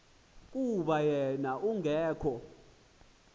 kuba wen ungekho